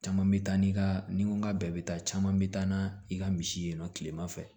Caman bɛ taa n'i ka ni n ko n ka bɛɛ bɛ taa caman bɛ taa n na i ka misi ye nɔ tilema fɛ